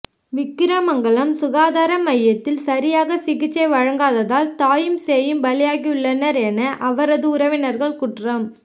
விக்கிரமங்லம் சுகாதார மையத்தில் சரியாக சிகிச்சை வழங்காததால் தாயும் சேயும் பலியாகியுள்ளனர் என அவரது உறவினர்கள் குற்றம்